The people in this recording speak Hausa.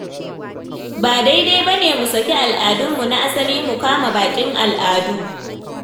Ba daidai ba ne mu saki al'adunmu na asali mu kama baƙin al'adu.